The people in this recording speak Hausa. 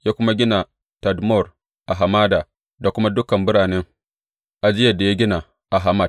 Ya kuma gina Tadmor a hamada da kuma dukan biranen ajiyar da ya gina a Hamat.